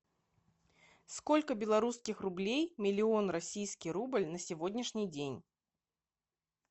сколько белорусских рублей миллион российский рубль на сегодняшний день